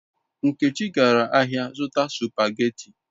Nkechi gara ahia zuta supageti